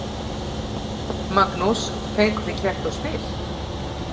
Magnús: Fenguð þið kerti og spil?